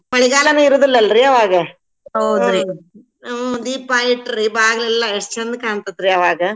ಮಳಿಗಾಲನೂ ಇರೂದಿಲ್ಲಲ್ರೀ ಅವಾಗ ಹ್ಞ್ ದೀಪಾ ಇಟ್ರೀ ಬಾಗ್ಲೆಲ್ಲಾ ಎಷ್ಟ್ ಚಂದ್ ಕಾಣ್ತೇತ್ರಿ ಅವಾಗ.